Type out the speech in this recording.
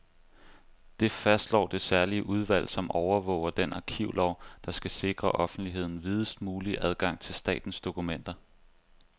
Det fastslår det særlige udvalg, som overvåger den arkivlov, der skal sikre offentligheden videst mulig adgang til statens dokumenter.